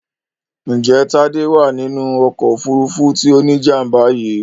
Ǹjẹ́ Tádé wà nínú ọkọ̀ òfurufú tí ó ní jàm̀bà yìí